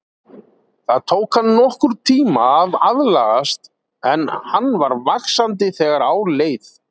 Það tók hann nokkurn tíma að aðlagast en hann var vaxandi þegar á leið.